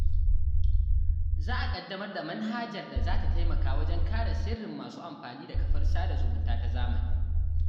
Za a ƙaddamar da manhajar da za ta taimaka wajen kare sirrin masu amfani da kafar sada zumunta ta zamani.